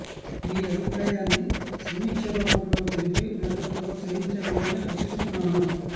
మీ అభిప్రాయాన్ని సమీక్ష రూపం లో తెలిపి నన్ను ప్రోత్స హించ గలరని ఆశిస్తున్నాను